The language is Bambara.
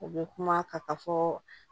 U bɛ kuma ka taa fɔ